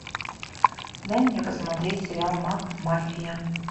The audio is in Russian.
дай мне посмотреть сериал макмафия